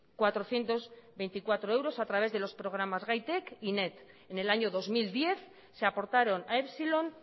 cuatrocientos veinticuatro euros a través de los programas gaitek y net en el año dos mil diez se aportaron a epsilon